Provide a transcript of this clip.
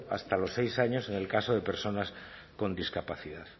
hasta los seis años en el caso de personas con discapacidad